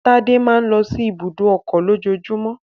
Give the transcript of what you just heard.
Tádé máa ń lọ sí ibùdó ọkọ̀ lójoojúmọ́